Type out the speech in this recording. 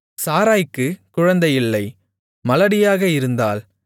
சாராய்க்குக் குழந்தையில்லை மலடியாக இருந்தாள்